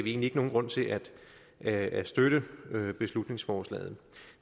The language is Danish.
egentlig ikke nogen grund til at at støtte beslutningsforslaget